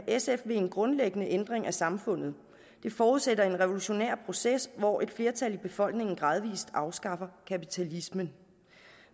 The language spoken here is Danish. sf vil en grundlæggende ændring af samfundet det forudsætter en revolutionær proces hvor et flertal i befolkningen gradvist afskaffer kapitalismen